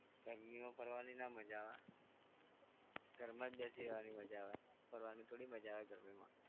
ગરમીમાં ફરવાની ના માજા આવે, ઘરમાં જ બેસી રહેવાની મજા આવે, ફરવાની થોડી મજા આવે ગરમીમાં.